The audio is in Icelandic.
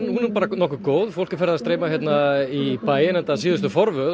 hún er nokkuð góð fólk streymir í bæinn enda síðustu forvöð